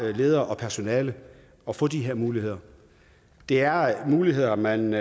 leder og personale at få de her muligheder det er muligheder man